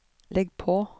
legg på